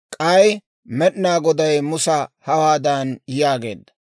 K'ay Med'inaa Goday Musa hawaadan yaageedda;